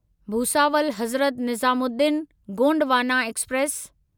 Bhusawal Hazrat Nizamuddin Gondwana express